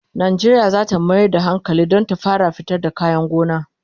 Najeriya zata Mayar da hankali Dan ta fara fitar da kayan gona